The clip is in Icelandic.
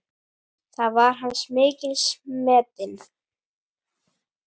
Þar var hann mikils metinn.